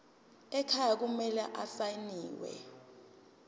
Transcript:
ekhaya kumele asayiniwe